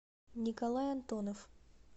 николай антонов